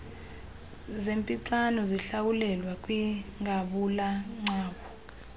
zernpixano zihlwayelwa kwingabulagcawu